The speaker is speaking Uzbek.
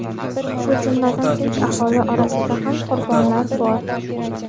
shu jumladan tinch aholi orasida ham qurbonlar bor.